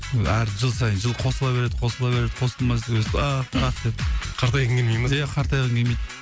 әр жыл сайын жыл қосыла береді қосыла береді қартайғың келмей ме иә қартайғым келмейді